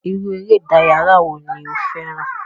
Iru ere idaraya wo ni o fẹran?